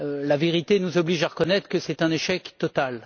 La réalité nous oblige à reconnaître que c'est un échec total.